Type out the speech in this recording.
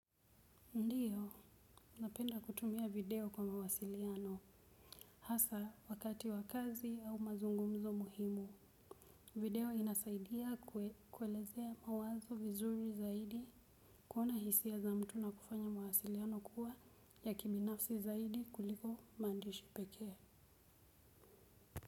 Ndiyo, napenda kutumia video kwa mawasiliano, hasa wakati wakazi au mazungumzo muhimu, video inasaidia kuelezea mawazo vizuri zaidi. Kuona hisia za mtu na kufanya mawasiliano kuwa ya kibinafsi zaidi kuliko maandishi pekee.